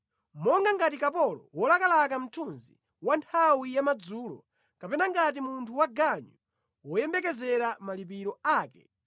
Monga ngati kapolo wolakalaka mthunzi wa nthawi yamadzulo, kapena ngati munthu waganyu woyembekezera malipiro ake,